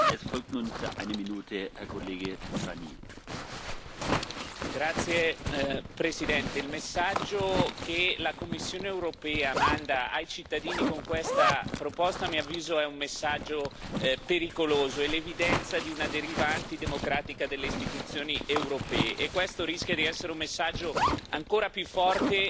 Signor Presidente, onorevoli colleghi, il messaggio che la Commissione europea manda ai cittadini con questa proposta, a mio avviso, è un messaggio pericoloso, è l'evidenza di una deriva antidemocratica delle istituzioni europee. E questo rischia di essere un messaggio ancora più forte